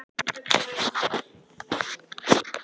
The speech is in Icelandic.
Ég veit að Kata lýgur, sagði Fúsi.